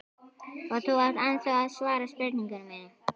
Og þú átt ennþá eftir að svara spurningu minni.